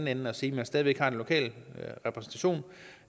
anden at sige at der stadig væk er en lokal repræsentation